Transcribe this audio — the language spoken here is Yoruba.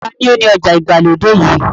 Ta ni ó ni ọjà ìgbàlódé yìí?